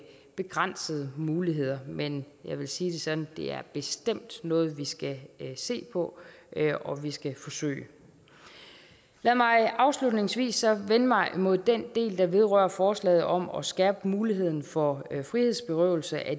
begrænsede muligheder men jeg vil sige det sådan det bestemt noget vi skal se på og vi skal forsøge lad mig afslutningsvis så vende mig mod den del der vedrører forslaget om at skærpe muligheden for frihedsberøvelse af